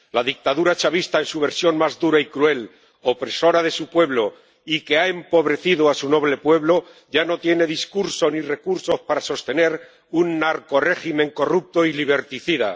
La dictadura chavista en su versión más dura y cruel, opresora de su pueblo y que ha empobrecido a su noble pueblo, ya no tiene discurso ni recursos para sostener un narcorrégimen corrupto y liberticida.